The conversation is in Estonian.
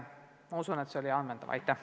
Ma usun, et see vastus oli ammendav!